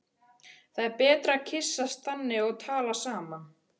Það er betra að kyssast þannig og tala saman.